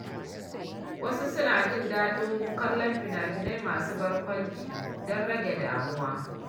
Wasu suna jin daɗin kallon fina-finai masu barkwanci don rage damuwa.